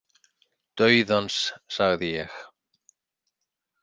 Dauðans, sagði ég.